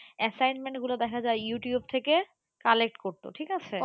assignment গুলো দেখা যায় ইউটিউব থেকে collect করতো ঠিক আছে,